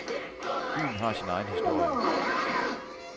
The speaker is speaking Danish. Byen har sin egen historie.